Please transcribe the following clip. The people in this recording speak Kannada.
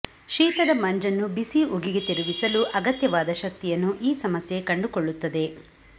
ಶೀತದ ಮಂಜನ್ನು ಬಿಸಿ ಉಗಿಗೆ ತಿರುಗಿಸಲು ಅಗತ್ಯವಾದ ಶಕ್ತಿಯನ್ನು ಈ ಸಮಸ್ಯೆ ಕಂಡುಕೊಳ್ಳುತ್ತದೆ